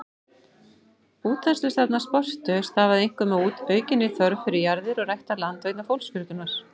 Útþenslustefna Spörtu stafaði einkum af aukinni þörf fyrir jarðir og ræktað land vegna fólksfjölgunar.